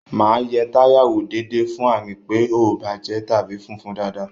Máa yẹ táyà wò déédéé fún àmì pé ó bàjẹ́ tàbí fúnfun dáadáa